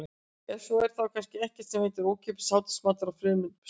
Ef svo er þá er kannski ekkert sem heitir ókeypis hádegismatur á frumefninu súrefni.